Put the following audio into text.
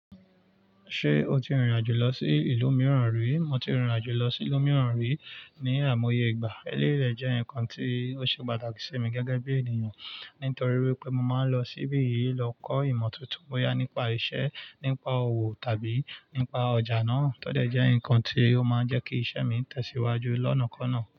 Ṣé o ti rìnrìn àjò lọ sí ìlú mìíràn rí? Mo ti rìnrìn àjò lọ sí ìlú mìíràn rí ní àìmọye ìgbà. Eléré jẹ́ nǹkan tí ó ṣe pàtàkì sí mi gẹ́gẹ́ bí ènìyàn, nítorí wípé mo máa ń lọ síbí yìí lọ kọ́ ìmọ̀ tuntun bóyá nípa iṣẹ́, nípa òwò tàbí nípa ọjà náà. Tódẹ̀ jẹ́ ǹkan tí ó máa ń jẹ́ kí iṣẹ́ mi tẹ̀síwájú lọ́nàkọ́ná.